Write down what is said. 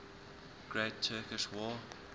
great turkish war